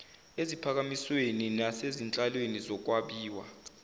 eziphakanyisweni nasezinhlelweni zokwabiwa